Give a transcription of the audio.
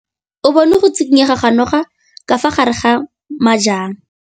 O bone go tshikinya ga noga ka fa gare ga majang.